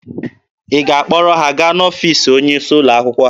Ị ga-akpọrọ ha gaa n'ọfiisi onye isi ụlọ akwụkwọ ha?